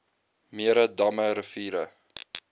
mere damme riviere